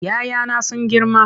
"ya 'ya na sun girma.